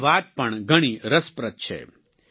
તેમની વાત પણ ઘણી રસપ્રદ છે